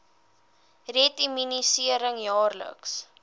red immunisering jaarliks